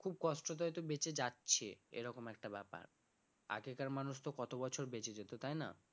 খুব কষ্টতে হয়তো বেঁচে যাচ্ছে এরকম একটা ব্যাপার আগেকার মানুষ তো কত বছর বেঁচে যেত তাই না?